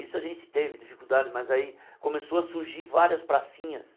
Isso a gente teve dificuldade, mas aí começou a surgir várias pracinhas.